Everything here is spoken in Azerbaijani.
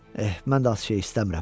Eh, mən də az şey istəmirəm.